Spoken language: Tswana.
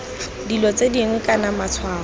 dilo tse dingwe kana matshwao